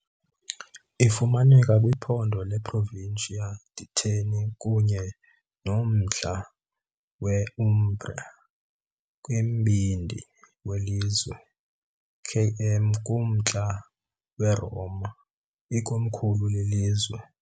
Ifumaneka kwiphondo leProvincia di Terni kunye nommandla we- Umbria, kumbindi welizwe, km kumntla weRoma, ikomkhulu lelizwe.